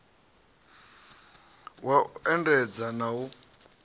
wa u endedza na u